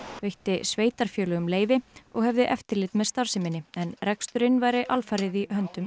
veitti sveitarfélögum leyfi og hefði eftirlit með starfseminni en reksturinn væri alfarið í höndum